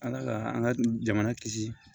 Ala ka an ka jamana kisi